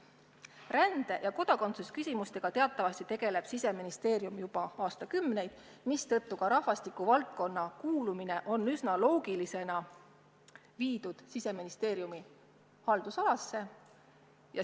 Rände ja kodakondsuse küsimustega teatavasti on Siseministeerium tegelnud juba aastakümneid, mistõttu ongi rahvastiku valdkond üsna loogilisena viidud Siseministeeriumi haldusalasse.